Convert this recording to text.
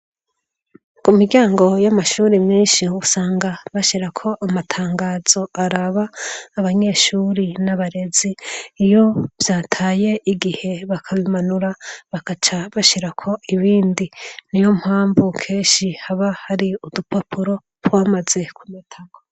Mu miryango y'amashuri menshi usanga bashira ko amatangazo araba abanyeshuri n'abarezi iyo vyataye igihe bakabimanura bakaca bashira ko ibindi ni yo mpamvu keshi haba hari udupapuro twamaze ku matako.